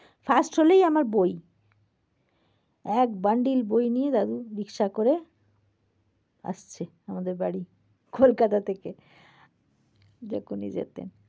first হলেই আমার বই। এক bundle বই নিয়ে দাদু rickshaw করে আসছে আমাদের বাড়ি। কোলকাতা থেকে যখনি যেতেন।